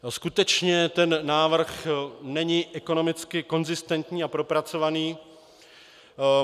Skutečně ten návrh není ekonomicky konzistentní a propracovaný.